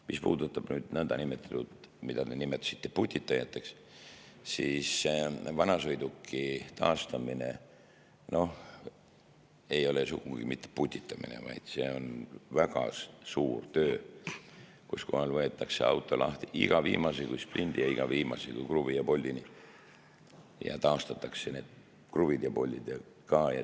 Mis puudutab niinimetatud putitajaid, nagu te ütlesite, siis vanasõiduki taastamine ei ole sugugi mitte putitamine, vaid see on väga suur töö, mille käigus võetakse auto lahti iga viimase kui splindi ja iga viimase kui kruvi ja poldini ja taastatakse need kruvid ja poldid ka.